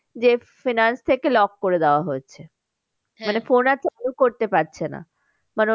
যে finance থেকে lock করে দেওয়া হচ্ছে। করতে পারছে না। ধরো